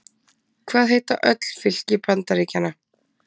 Hvað heita öll fylki Bandaríkjanna?